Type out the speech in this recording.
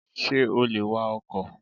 Sé o lè wa ọkò?